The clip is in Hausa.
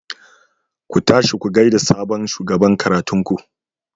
Ku tashi ku gaida sabon shugaban karatun ku.